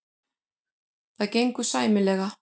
Það gengur sæmilega.